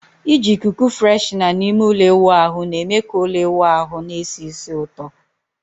Iji ikuku freshener na ime ụlọ ịwụ ahu na-eme ka ụlọ ịwụ ahụ na-esi ísì ụtọ